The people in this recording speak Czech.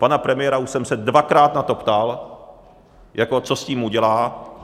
Pana premiéra už jsem se dvakrát na to ptal, jako co s tím udělá.